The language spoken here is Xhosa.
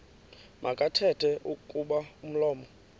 makathethe kuba umlomo